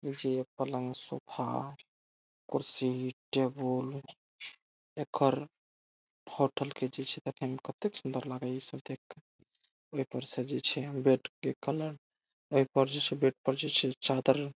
इजे पलंग सोफा कुर्सी टेबल एखर होटल के जैसे देखे में कते सुन्दर लागि ई सब देख कर। ए पर से जे छे बेड के कलर आ ई पर जे छे बेड पर जे छे चादर --